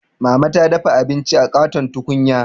Mama ta dafa abinci a ƙaton tukunya.